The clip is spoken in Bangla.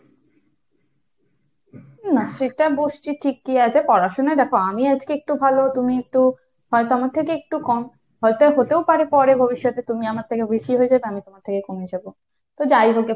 না সেটা বসছি ঠিকই আছে, পড়াশোনা দেখো আমি আজকে একটু ভালো তুমি একটু, হয়তো আমার থেকে একটু কম। হয়তো হতেও পারে পরে ভবিষ্যতে তুমি আমার থেকে বেশি হয়ে যাবে, আমি তোমার থেকে কমে যাব। তো যাই হোক গে,